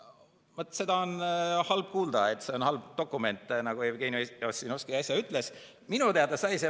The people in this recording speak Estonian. Vaat, seda on halb kuulda, et see on halb dokument, nagu Jevgeni Ossinovski äsja ütles.